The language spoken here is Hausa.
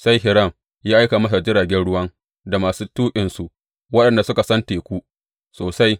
Sai Hiram ya aika masa jiragen ruwan da masu tuƙinsu waɗanda suka san teku sosai.